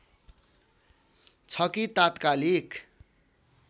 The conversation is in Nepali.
छ कि तात्कालिक